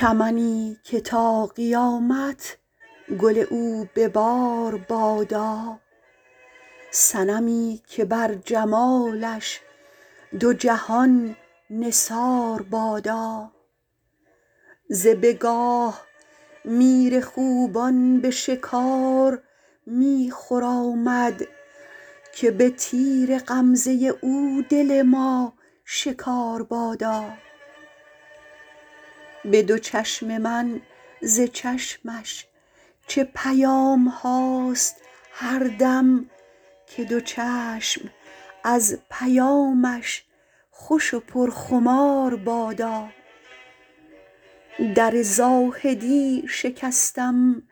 چمنی که تا قیامت گل او به بار بادا صنمی که بر جمالش دو جهان نثار بادا ز بگاه میر خوبان به شکار می خرامد که به تیر غمزه او دل ما شکار بادا به دو چشم من ز چشمش چه پیام هاست هر دم که دو چشم از پیامش خوش و پرخمار بادا در زاهدی شکستم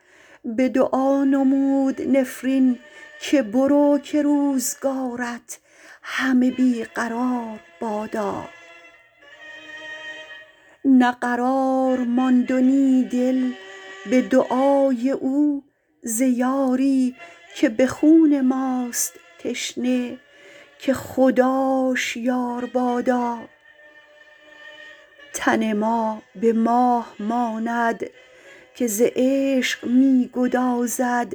به دعا نمود نفرین که برو که روزگارت همه بی قرار بادا نه قرار ماند و نی دل به دعای او ز یاری که به خون ماست تشنه که خداش یار بادا تن ما به ماه ماند که ز عشق می گدازد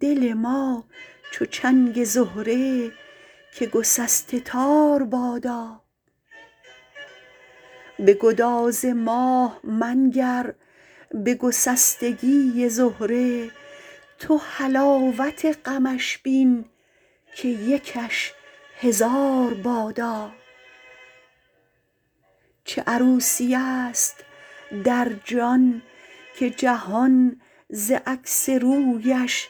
دل ما چو چنگ زهره که گسسته تار بادا به گداز ماه منگر به گسستگی زهره تو حلاوت غمش بین که یکش هزار بادا چه عروسیست در جان که جهان ز عکس رویش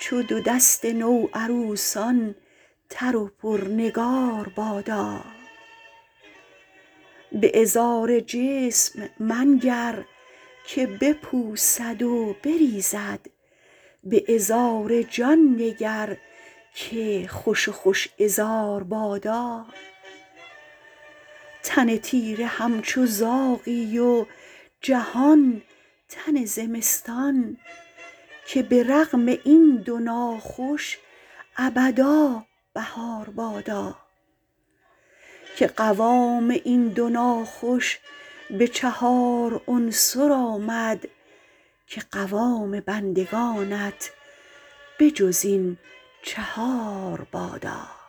چو دو دست نوعروسان تر و پرنگار بادا به عذار جسم منگر که بپوسد و بریزد به عذار جان نگر که خوش و خوش عذار بادا تن تیره همچو زاغی و جهان تن زمستان که به رغم این دو ناخوش ابدا بهار بادا که قوام این دو ناخوش به چهار عنصر آمد که قوام بندگانت به جز این چهار بادا